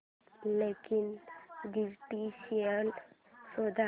login credentials शोध